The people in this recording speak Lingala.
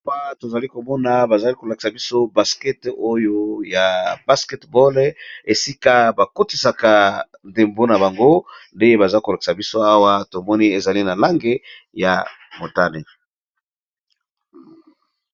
Awa tozali komona bazolakisa biso basket esika bakotisaka ndembo nabango tomoni eza na langi ya motane.